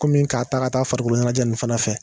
Ko min k'a ta ka taa farikolo ɲɛnajɛ nin fana fɛ.